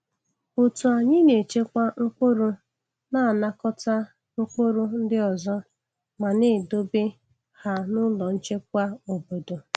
Otu anyị na-echekwa mkpụrụ na-anakọta mkpụrụ ndị ọzọ ma na-edobe ha n’ụlọ nchekwa obodo.